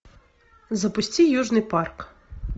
запусти южный парк